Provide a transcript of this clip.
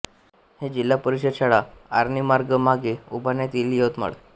हे जिल्हा परिषद शाळा आर्णी मार्ग मागे उभारण्यात येईल यवतमाळ